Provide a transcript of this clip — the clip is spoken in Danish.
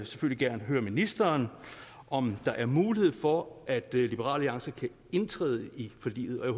selvfølgelig gerne høre ministeren om der er mulighed for at liberal alliance kan indtræde i forliget og